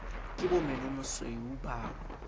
ke bo menomasweu ba o